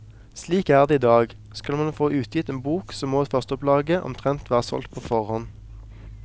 Slik er det idag, skal man få utgitt en bok så må førsteopplaget omtrent være solgt på forhånd.